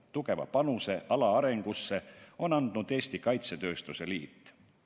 Tugeva panuse ala arengusse on andnud Eesti Kaitsetööstuse Liit.